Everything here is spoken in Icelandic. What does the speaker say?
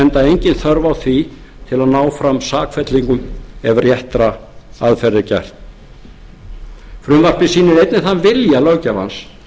enda engin þörf á því til að ná fram sakfellingum ef réttra aðferða er gætt frumvarpið sýnir einnig þann vilja löggjafans